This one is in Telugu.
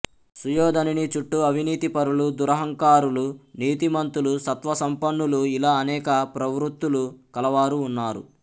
సుయోధనుని చుట్టూ అవినీతి పరులు దూరంహంకారులు నీతి మంతులు సత్వసంపన్నులు ఇలా అనేక ప్రవృత్తులు కలవారు ఉన్నారు